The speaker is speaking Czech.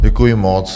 Děkuji moc.